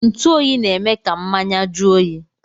Ntuoyi na-eme ka mmanya jụọ oyi